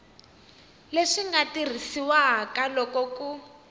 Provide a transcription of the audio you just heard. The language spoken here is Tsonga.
leswi nga tirhisiwaka loko ku